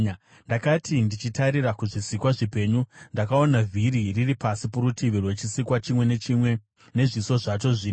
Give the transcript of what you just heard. Ndakati ndichitarira kuzvisikwa zvipenyu, ndakaona vhiri riri pasi porutivi rwechisikwa chimwe nechimwe nezviso zvacho zvina.